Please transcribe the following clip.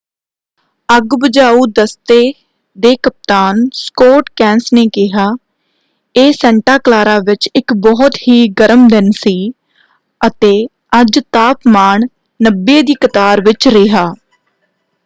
ਅੱਗ ਬੁਝਾਊ ਦਸਤੇ ਦੇ ਕਪਤਾਨ ਸਕੌਟ ਕੈਂਸ ਨੇ ਕਿਹਾ ਇਹ ਸੈਂਟਾ ਕਲਾਰਾ ਵਿੱਚ ਇੱਕ ਬਹੁਤ ਹੀ ਗਰਮ ਦਿਨ ਸੀ ਅਤੇ ਅੱਜ ਤਾਪਮਾਨ 90 ਦੀ ਕਤਾਰ ਵਿੱਚ ਰਿਹਾ।